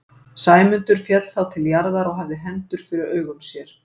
Sæmundur féll þá til jarðar og hafði hendur fyrir augum sér.